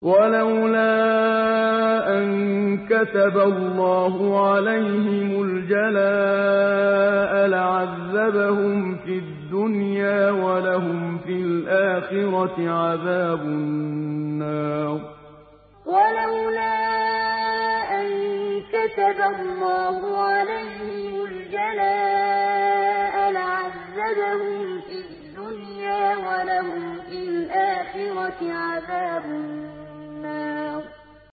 وَلَوْلَا أَن كَتَبَ اللَّهُ عَلَيْهِمُ الْجَلَاءَ لَعَذَّبَهُمْ فِي الدُّنْيَا ۖ وَلَهُمْ فِي الْآخِرَةِ عَذَابُ النَّارِ وَلَوْلَا أَن كَتَبَ اللَّهُ عَلَيْهِمُ الْجَلَاءَ لَعَذَّبَهُمْ فِي الدُّنْيَا ۖ وَلَهُمْ فِي الْآخِرَةِ عَذَابُ النَّارِ